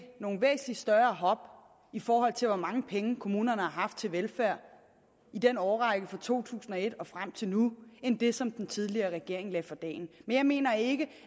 nogle væsentlig større hop i forhold til hvor mange penge kommunerne har haft til velfærd i den årrække fra to tusind og et og frem til nu end det som den tidligere regering lagde for dagen men jeg mener ikke